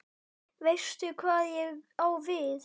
Veistu hvað ég á við?